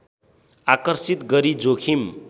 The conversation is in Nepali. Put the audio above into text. आकर्षित गरी जोखिम